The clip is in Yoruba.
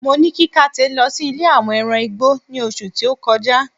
mo ni kí kate lo sí ilè àwọn ẹran igbó ni oṣù ti o kọjá